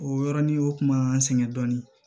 O yɔrɔnin o kuma an sɛgɛn dɔɔnin